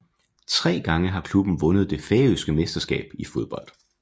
Tre gange har klubben vundet det færøske mesterskab i fodbold